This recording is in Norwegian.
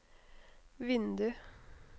vindu